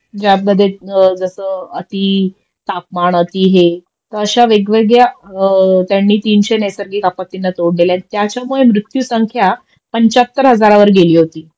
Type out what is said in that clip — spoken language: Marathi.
ज्यामध्ये जस अति तापमान अति हे तर अश्या वेगवेगळ्या त्यांनी तीनशे नैसर्गिक आपत्तींना तोंड दिलंय त्याच्यामुळे मृत्युसंख्या पंच्याहत्तर हजारावर गेली होती